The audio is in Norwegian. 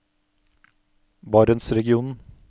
barentsregionen